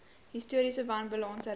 historiese wanbalanse reg